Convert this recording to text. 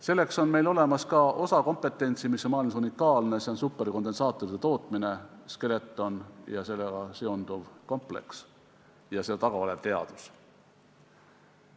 Selleks on meil olemas ka osa kompetentsi, mis on maailmas unikaalne, see on superkondensaatorite tootmine, Skeleton ja sellega seonduv kompleks ja seal taga olev teadus.